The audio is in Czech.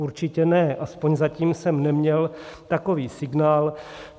Určitě ne, aspoň zatím jsem neměl takový signál.